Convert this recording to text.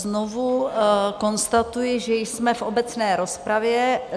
Znovu konstatuji, že jsme v obecné rozpravě.